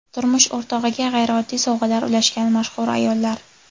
Turmush o‘rtog‘iga g‘ayrioddiy sovg‘alar ulashgan mashhur ayollar .